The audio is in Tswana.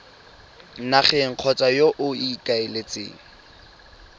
nageng kgotsa yo o ikaeletseng